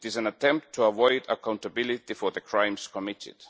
It is an attempt to avoid accountability for the crimes committed.